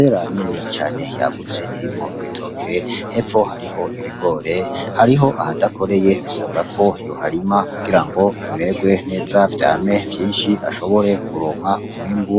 Vera nini cane yagutse irimwo ibitoke hepfo hariho ibigore hariho ahadakoreye bisabwa ko yoharima kugira ngo bimeerwe nteza vyame vyinshi ashobore kuronwa umwembu